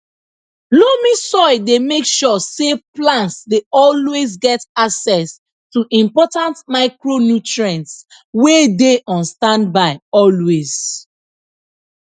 loamy soil dey make sure say plants dey always get access to important micronutrients wey dey on standby always